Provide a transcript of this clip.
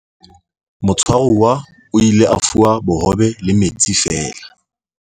motshwaruwa o ile a fuwa bohobe le metsi feela